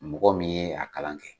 Mɔgɔ min a kalan kɛ.